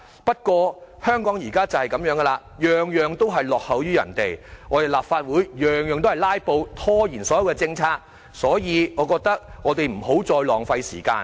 不過，香港現時的情況正是這樣，事事均落後於人，立法會事事也"拉布"，拖延所有政策，所以，我們不要再浪費時間。